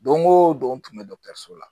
Don o don n tun bɛ dɔkɔtɔrɔso la